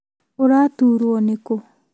Ũraturwo nĩkũ?